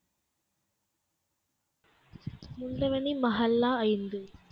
முந்தவனி மஹால்லா ஐந்து